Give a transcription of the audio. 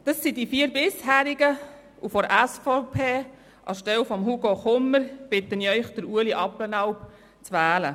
Es sind dies die vier Bisherigen, und anstelle von Hugo Kummer bitte ich Sie, Ueli Abplanalp zu wählen.